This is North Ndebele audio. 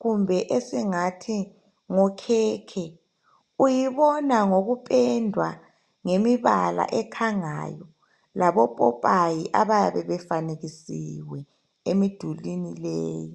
kumbe esingathi ngokhekhe, uyibona ngokupendwa ngemibala ekhangayo labopopayi abayabe befanekisiwe emidulini leyi